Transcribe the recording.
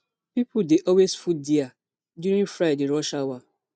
pipo dey always full dia during friday rush hour